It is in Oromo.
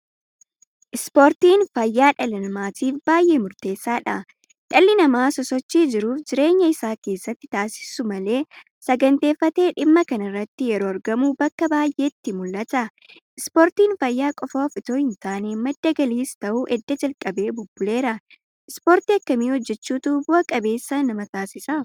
Ispoortiin fayyaa dhala namaatiif baay'ee murteessaadha. Dhalli namaa sosochii jiruuf jireenya isaa keessatti taasisu malee saganteeffatee dhimma kanarratti yeroo argamu bakka baay'eetti mul'ata. Ispoortiin fayyaa qofaaf itoo hintaane madda galiis ta'uu edda jalqabee bubbuleera. Ispoortii akkamii hojjechuutu bu'a qabeessa nama taasisa?